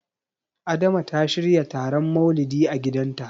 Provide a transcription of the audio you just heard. Adama ta shirya taron Maulidi a gidanta.